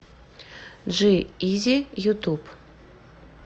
джи изи ютуб